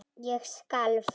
Ég skalf.